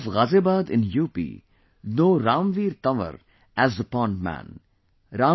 the people of Ghaziabad in UP know Ramveer Tanwar as the 'Pond Man'